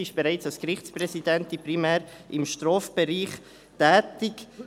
sie war bereits als Gerichtspräsidentin primär im Strafbereich tätig.